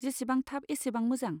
जेसेबां थाब एसेबां मोजां।